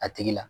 A tigi la